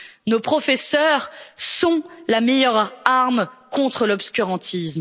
Nos professeurs sont la meilleure arme contre l'obscurantisme.